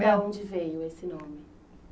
onde veio esse